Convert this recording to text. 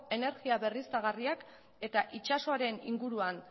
energia berriztagarriak eta itsasoaren inguruan